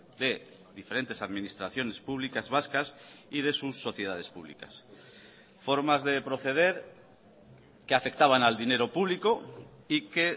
de diferentes administraciones públicas vascas y de sus sociedades públicas formas de proceder que afectaban al dinero público y que